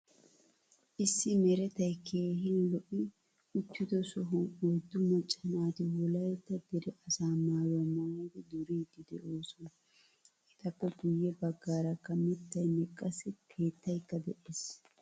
Issi meretay keehin lo''i uttido sohuwan oydu macca naati wolaytta dere asaa maayuwaa maayidi duridi deosona. Etappe guye baggaarakka miittaynne qassi keettaykka de'ees.